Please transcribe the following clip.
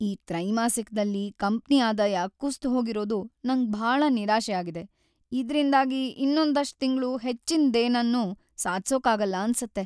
ಈ ತ್ರೈಮಾಸಿಕದಲ್ಲಿ ಕಂಪ್ನಿ ಆದಾಯ ಕುಸ್ದ್‌ಹೋಗಿರೋದು ನಂಗ್ ಭಾಳ ನಿರಾಶೆ ಆಗಿದೆ, ಇದ್ರಿಂದಾಗಿ ಇನ್ನೊಂದಷ್ಟ್‌ ತಿಂಗ್ಳು ಹೆಚ್ಚಿನ್‌ದೇನನ್ನೂ ಸಾಧ್ಸೋಕಾಗಲ್ಲ ಅನ್ಸತ್ತೆ.